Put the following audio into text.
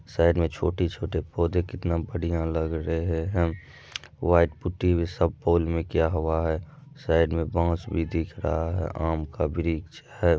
Side में छोटे-छोटे पौधे कितना बढ़िया लग रहे है व्हाइट पुटी भी सब पोल में किया हुआ है साइड में बांस भी दिख रहा है आम का वृक्ष है।